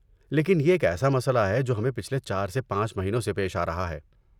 لیکن یہ ایک ایسا مسئلہ ہے جو ہمیں پچھلے چار سے پانچ مہینوں سے پیش آرہا ہے